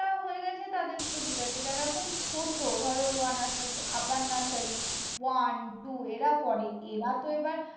আছে তাদের তো ঠিকাছে। যারা এখন ছোট, ধরো lower nursery, upper nursery, one, two এরা পরে এরা তো এবার